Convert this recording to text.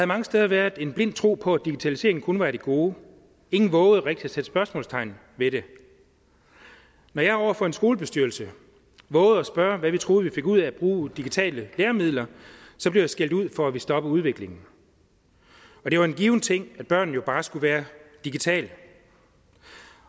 mange steder været en blind tro på at digitalisering kun var et gode ingen vovede rigtig at sætte spørgsmålstegn ved det når jeg over for en skolebestyrelse vovede at spørge hvad for en skole vi fik ud af at bruge digitale læremidler blev jeg skældt ud for at ville stoppe udviklingen det var en given ting at børn jo bare skulle være digitale